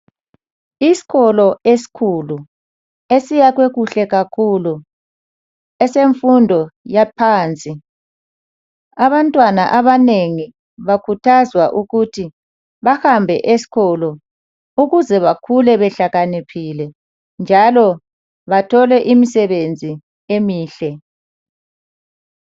isikolo esikhulu esiyakhwe kuhle kakhulu esemfundo yaphansi abantwana abanengi bakhuthazwa ukuthi bahambe esikolo ukuze bakhule behlakaniphile njalo bathole imisebenzi emihle